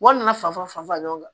Wari nana fan falen ɲɔgɔn na